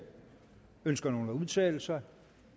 ønsker nogen at udtale sig